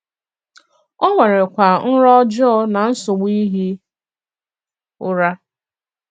O nwèrèkwa nrọ ọjọọ na nsọ̀bù ìhì ùrà.